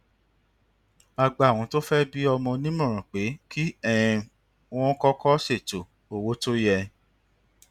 a gbà àwọn tó fé bí ọmọ nímòràn pé kí um wón kọkọ ṣètò owó tó yẹ